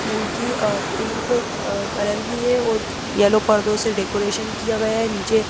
मूर्ति अ पिंक अ कलर की है और यलो पर्दों से डेकोरेशन किया गया है नीचे।